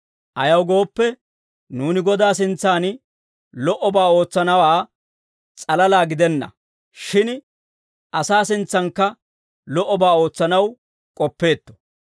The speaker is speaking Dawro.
Ayaw gooppe, nuuni Godaa sintsaan lo"obaa ootsanawaa s'alalaa gidenna; shin asaa sintsankka lo"obaa ootsanaw k'oppeetto.